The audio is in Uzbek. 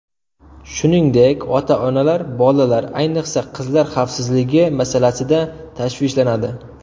Shuningdek, ota-onalar bolalar, ayniqsa, qizlar xavfsizligi masalasida tashvishlanadi.